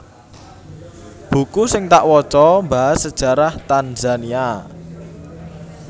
Buku sing tak woco mbahas sejarah Tanzania